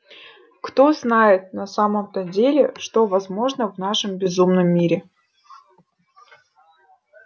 кто знает на самом-то деле что возможно в нашем безумном мире